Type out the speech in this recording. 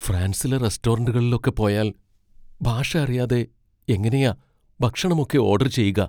ഫ്രാൻസിലെ റെസ്റ്റോറന്റുകളിലൊക്കെ പോയാൽ ഭാഷ അറിയാതെ എങ്ങനെയാ ഭക്ഷണം ഒക്കെ ഓഡർ ചെയ്യുക?